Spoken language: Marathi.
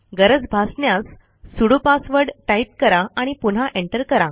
गरज भासण्यास सुडो पासवर्ड टाईप करा आणि पुन्हा एंटर करा